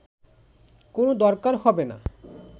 কোন দরকার হবে না